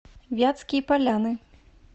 вятские поляны